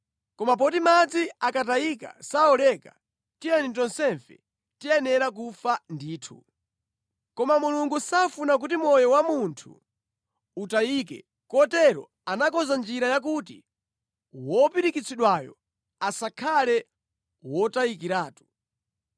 Koma poti madzi akatayika sawoleka, ndiye tonsefe tiyenera kufa ndithu. Koma Mulungu safuna kuti moyo wa munthu utayike kotero anakonza njira yakuti wopirikitsidwayo asakhale wotayikiratu.